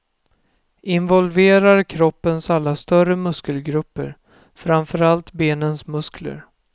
Involverar kroppens alla större muskelgrupper, framför allt benens muskler.